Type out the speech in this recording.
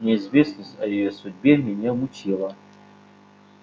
неизвестность о её судьбе меня мучила